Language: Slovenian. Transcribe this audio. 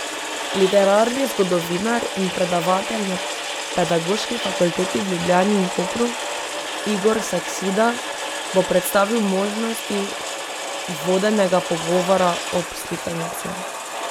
Literarni zgodovinar in predavatelj na Pedagoški fakulteti v Ljubljani in Kopru Igor Saksida bo predstavil možnosti vodenega pogovora ob slikanici.